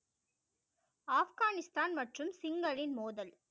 ஆப்கானிஸ்தான் மற்றும் சிங்களின் மோதல்